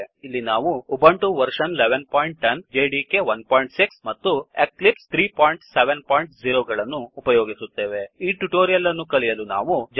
ಇಲ್ಲಿ ನಾವು Ubuntu version 1110 Ubuntu version ೧೧೧೦ Java development environment JDK 16 Java development environment JDK ೧೬ and Eclipse IDE 370 ಮತ್ತು Eclipse IDE ೩೭೦ ಗಳನ್ನು ಉಪಯೋಗಿಸುತ್ತೇವೆ